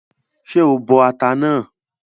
Ṣé o bọ ata náà?